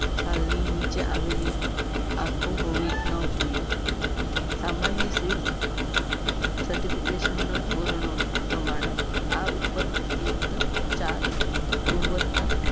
છાલની નીચે આવે લી આંખો હોવી ના જોઈએ. સામાન્ય seed certification નો ધોરણો પ્રમાણે. આ ઉપર્યુક્ત ચાર ગુણવત્તા